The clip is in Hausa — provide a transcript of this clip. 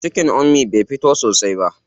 Cikin Ummi bai fito sosai ba.